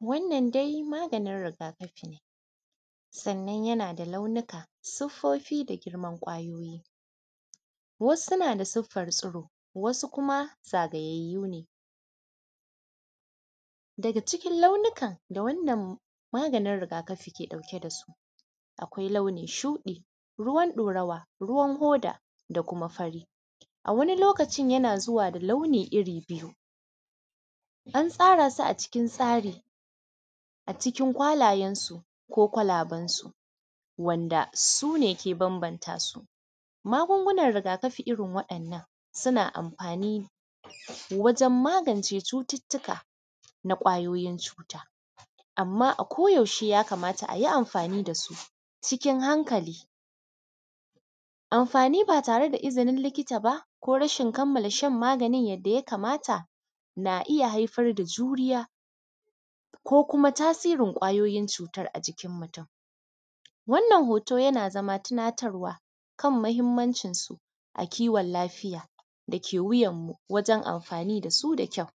Wannan dai maganin rigakafi ne sannan yana da lanuniƙa siffofi da manyan ƙwayoyi wasu na da suffan tsiro wasu kuma zagayayyu ne daga cikin lanunikan da wannan maganin rigakafin yake ɗauke da su akwai lanuniƙan shuɗi ruwan ɗorawa, ruwan hoda da kuma fari a wannan lokacin yana zuwa dasu lanunikan iri biyu an tsara su a cikin tsari a cikin kwalayensu ko kwalaban su wanda suke bambanta su magungunan rigakafi irin waɗannan suna amfani wajen magance cututtuka na ƙwayoyin cuta amma ako yaushe ya kamta a yi amfani da su cikin hankali amfani ba tare da izinin likita ba ko rashin kammala shan maganin yadda ya kamata na iya haifar da juriya ko kuma tasirin ƙwayoyin cutan a jikin mutum wannan hoto yana zaba tunatarwa kan mahinmancinsu na kiwon lafiya dake wuyanmu wajen amfani da su da kyawu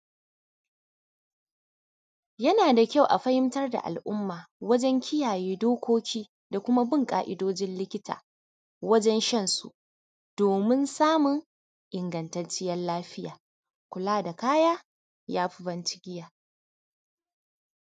yana da kyawu a fahinta da al’umma wajen kiyaye dokoki da kuma bin ƙaidojin likita wajen shan su domin samun ingattacciyan lafiya kula da kaya yafi ban cigiya.